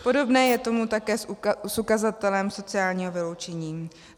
Podobné je to také s ukazatelem sociálního vyloučení.